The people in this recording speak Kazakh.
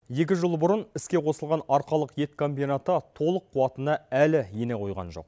екі жыл бұрын іске қосылған арқалық ет комбинаты толық қуатына әлі ене қойған жоқ